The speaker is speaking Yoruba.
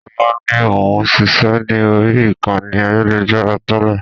Sọlá ni òun ṣiṣẹ́ ni ori ìkànnì ayélujára tẹ́lẹ̀